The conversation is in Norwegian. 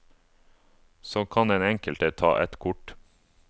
Så kan den enkelte ta et kort.